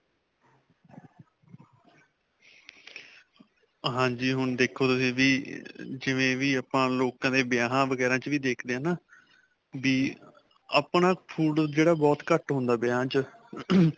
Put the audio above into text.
ਹਾਂਜੀ. ਹੁਣ ਦੇਖੋ ਤੁਸੀਂ ਵੀ ਅਅ ਜਿਵੇਂ ਵੀ ਆਪਾਂ ਲੋਕਾਂ ਦੇ ਵਿਆਹਾਂ ਵਗੈਰਾਂ 'ਚ ਵੀ ਦੇਖਦੇ ਹੈ ਨਾ ਵੀ ਆਪਣਾ food, ਜਿਹੜਾ ਬਹੁਤ ਘੱਟ ਹੁੰਦਾ, ਵਿਆਹਾਂ 'ਚ.